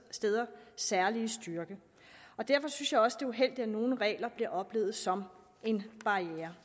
særlige styrke derfor synes jeg også det er uheldigt at nogle regler bliver oplevet som en barriere